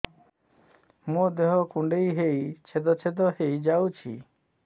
ମୋ ଦେହ କୁଣ୍ଡେଇ ହେଇ ଛେଦ ଛେଦ ହେଇ ଯାଉଛି